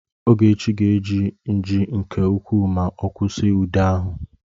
Ogechi ga-eji nji nke ukwuu ma ọ kwụsị ude ahụ